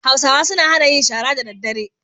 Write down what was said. Hausawa suna hana yin shara da daddare.